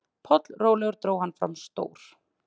Pollrólegur dró hann fram stór